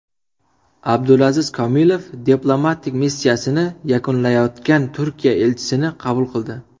Abdulaziz Komilov diplomatik missiyasini yakunlayotgan Turkiya elchisini qabul qildi.